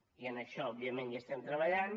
i en això òbviament hi estem treballant